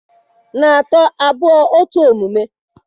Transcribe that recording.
na atọ, abụọ, otu omume!